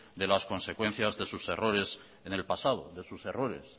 de las consecuencias de sus errores en el pasado de sus errores